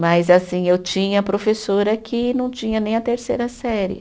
Mas, assim, eu tinha professora que não tinha nem a terceira série.